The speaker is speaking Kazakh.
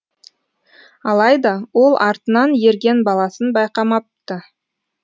алайда ол артынан ерген баласын байқамапты